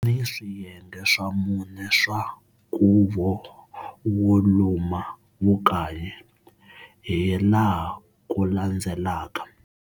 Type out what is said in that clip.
Kuni swiyenge swa mune swa nkuvo wo luma vukanyi, hi laha kulandzelaka.